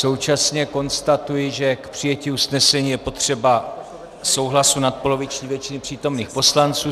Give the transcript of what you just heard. Současně konstatuji, že k přijetí usnesení je potřeba souhlasu nadpoloviční většiny přítomných poslanců.